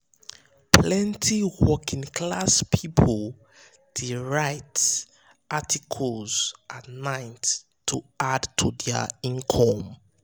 plenty working-class people um dey write um articles at night to um add to their income.